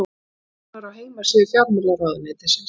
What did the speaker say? sjá nánar á heimasíðu fjármálaráðuneytisins